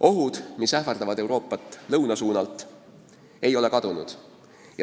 Ohud, mis ähvardavad Euroopat lõunasuunalt, ei ole kadunud.